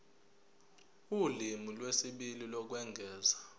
ulimi lwesibili lokwengeza